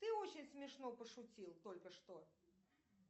ты очень смешно пошутил только что